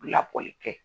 Labɔli kɛ